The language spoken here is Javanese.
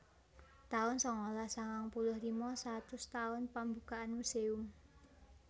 taun sangalas sangang puluh lima satus taun pambukaan muséum